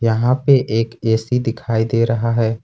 यहां पे एक ए_सी दिखाई दे रहा है।